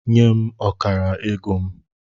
Nye m ọkara ego m!